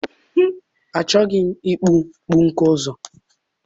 Achọghị m ịkpụ pọnkụ ọzọ.